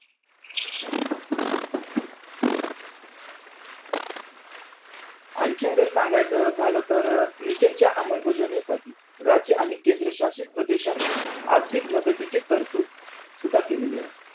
आणखीन जर सांगायचं झालं तर अं mission च्या अंमलबजावणी साठी राज्य आणि केंद्र शासित प्रदेशांना आर्थिक मदतीची तरतूद सुद्धा केलेली आहे.